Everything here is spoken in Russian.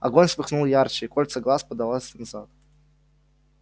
огонь вспыхнул ярче и кольцо глаз подалось назад